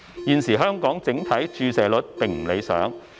現時香港整體注射率並不理想。